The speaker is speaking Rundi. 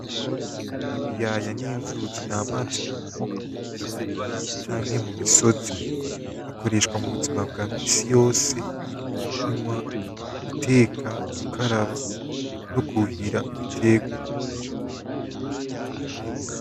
Ibiyaya n’inzuzi, n’amazi akomoka k’ubutaka canke mu misozi. Akoreshwa mu buzima bwa minsi yose nko kunywa, guteka, gukaraba no kwuhira ibiterwa.